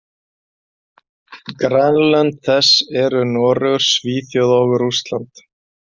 Grannlönd þess eru Noregur, Svíþjóð og Rússland.